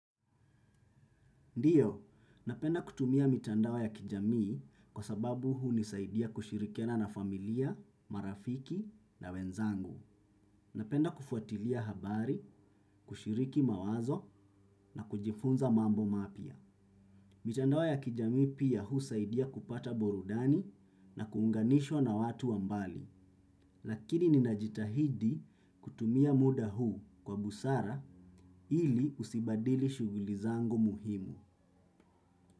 Ndiyo, napenda kutumia mitandao ya kijamii kwa sababu hunisaidia kushirikiana na familia, marafiki na wenzangu. Napenda kufuatilia habari, kushiriki mawazo na kujifunza mambo mapia. Mitandao ya kijamii pia husaidia kupata burudani na kuunganishwa na watu wa mbali. Lakini ninajitahidi kutumia muda huu kwa busara ili usibadili shughuli zangu muhimu.